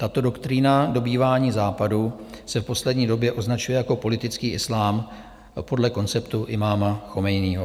Tato doktrína dobývání Západu se v poslední době označuje jako politický islám podle konceptu imáma Chomejního.